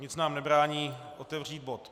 Nic nám nebrání otevřít bod